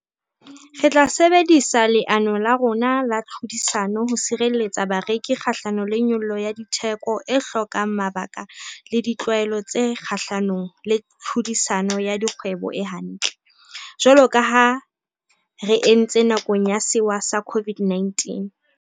Re tla sebedisa leano la rona la tlhodisano ho sireletsa bareki kgahlano le nyollo ya ditheko e hlokang mabaka le ditlwaelo tse kgahlanong le tlhodisano ya dikgwebo e hantle, jwalo ka ha re entse nakong ya sewa sa COVID-19.